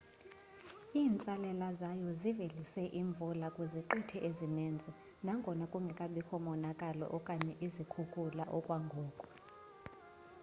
iintsalela zayo zivelise imvula kwiziqithi ezininzi nangona kungekabikho monakalo okanye izikhukula okwangoku